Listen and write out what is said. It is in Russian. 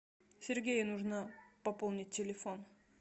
сергею нужно пополнить телефон